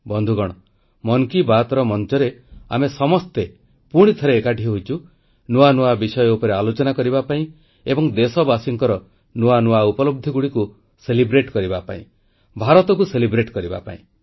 ବନ୍ଧୁଗଣ ମନ୍ କି ବାତ୍ ମଞ୍ଚରେ ଆମେ ସମସ୍ତେ ପୁଣି ଥରେ ଏକାଠି ହୋଇଛୁ ନୂଆ ନୂଆ ବିଷୟ ଉପରେ ଆଲୋଚନା କରିବା ପାଇଁ ଏବଂ ଦେଶବାସୀଙ୍କର ନୂଆ ନୂଆ ଉପଲବ୍ଧିଗୁଡ଼ିକୁ ପାଳନ କରିବା ପାଇଁ ଭାରତକୁ ପାଳନ କରିବା ପାଇଁ